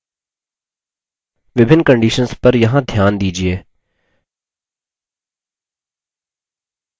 विभिन्न conditions पर यहाँ ध्यान दीजिये;